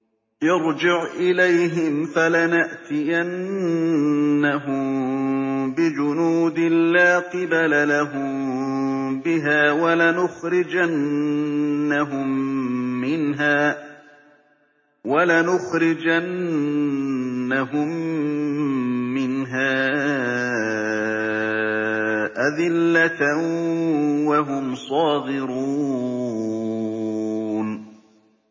ارْجِعْ إِلَيْهِمْ فَلَنَأْتِيَنَّهُم بِجُنُودٍ لَّا قِبَلَ لَهُم بِهَا وَلَنُخْرِجَنَّهُم مِّنْهَا أَذِلَّةً وَهُمْ صَاغِرُونَ